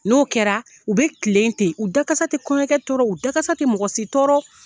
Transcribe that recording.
N'o kɛra u bɛ kilen ten,u da kasa tɛ kɔɲɔkɛ tɔɔrɔ, u da kasa tɛ mɔgɔ si tɔɔrɔ.